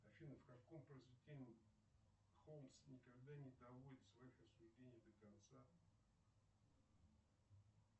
афина в каком произведении холмс никогда не доводит в своих рассуждениях до конца